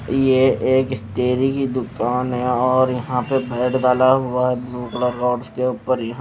ये एक स्टेरी की दुकान है और यहां पर डाला हुआ है ब्लू कलर रॉड्स के ऊपर यहां--